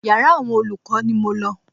Yàrá àwọn olùkọ́ ni mo lọ.